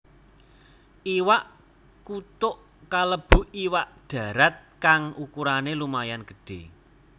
Iwak kutuk kalebu iwak dharat kang ukurané lumayan gedhé